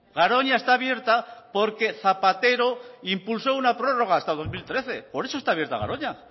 garoña está abierta porque zapatero impulsó una prórroga hasta dos mil trece por eso está abierta garoña